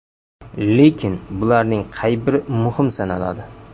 Lekin bularning qay biri muhim sanaladi?